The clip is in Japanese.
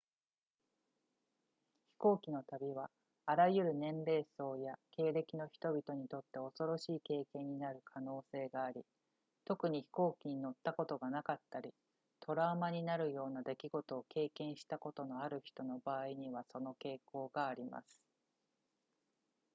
飛行機の旅はあらゆる年齢層や経歴の人々にとって恐ろしい経験になる可能性があり特に飛行機に乗ったことがなかったりトラウマになるような出来事を経験したことのある人の場合にはその傾向があります